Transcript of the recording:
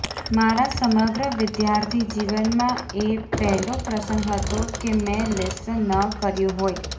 મારા સમગ્ર વિદ્યાર્થી જીવનમાં એ પહેલો પ્રસંગ હતો કે મેં લેસન ન કર્યું હોય